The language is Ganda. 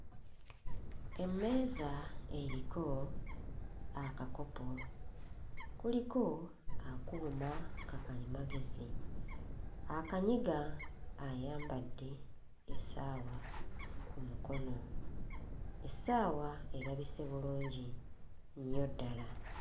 Emmeeza eriko akakopo kuliko akuuma ka kalimagezi, akanyiga ayambadde essaawa ku mukono, essaawa erabise bulungi nnyo ddala.